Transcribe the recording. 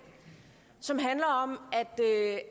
som handler om